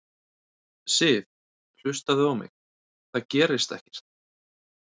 Sif. hlustaðu á mig. það gerist ekkert!